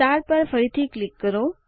star પર ફરીથી click કરો